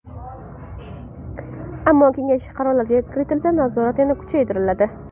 Ammo kengash qarorlariga kiritilsa, nazorat yana kuchaytiriladi.